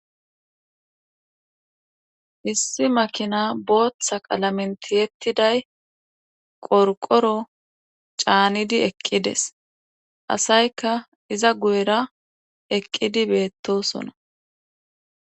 Issi makina booththa qalamenti yettiday qorqoro caanidi eqqides asayka iza guyera eqqidi beettosona.